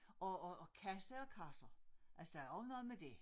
Og og og kasse og kasser altså der er også noget med dét